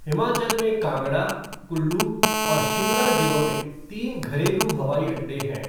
हिमाचल में कांगड़ा, कुल्लू और शिमला जिलों में तीन घरेलू हवाई अड्डे हैं।